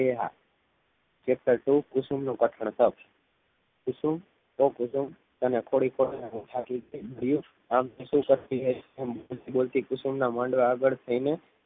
એ હા કે કઠોળ કુસુમનો કઠોળ કર કુસુમ ઓ કુસુમ આમ કુસુમના માડવા આગડ થઈને